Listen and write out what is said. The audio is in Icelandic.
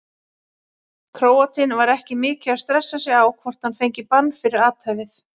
Króatinn var ekki mikið að stressa sig á hvort hann fengi bann fyrir athæfið.